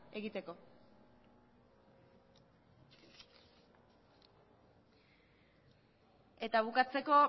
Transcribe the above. egiteko eta bukatzeko